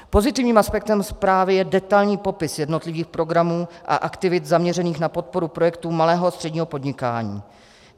Pozitivním aspektem zprávy je detailní popis jednotlivých programů a aktivit zaměřených na podporu projektů malého a středního podnikání.